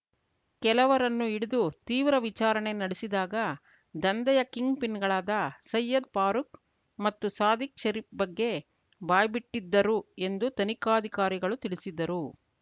ಕೆಲವರನ್ನು ಹಿಡಿದು ತೀವ್ರ ವಿಚಾರಣೆ ನಡೆಸಿದಾಗ ದಂಧೆಯ ಕಿಂಗ್‌ಪಿನ್‌ಗಳಾದ ಸಯ್ಯದ್‌ ಫಾರೂಕ್‌ ಮತ್ತು ಸಾದಿಕ್‌ ಶರೀಫ್‌ ಬಗ್ಗೆ ಬಾಯ್ಬಿಟ್ಟಿದ್ದರು ಎಂದು ತನಿಖಾಧಿಕಾರಿಗಳು ತಿಳಿಸಿದ್ದರು